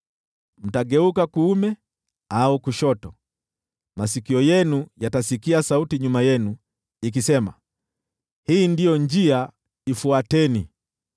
Mkigeuka kuume au kushoto, masikio yenu yatasikia sauti nyuma yenu ikisema, “Hii ndiyo njia, ifuateni.”